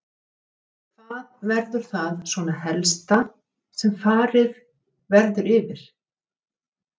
Hvað verður það svona helsta sem verður farið yfir þar?